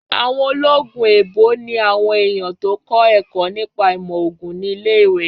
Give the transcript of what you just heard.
Àwọn ológun èèbó ni àwọn èèyàn tó kọ́ ẹ̀kọ́ nípa ìmọ̀ ògùn ní ilé-ìwé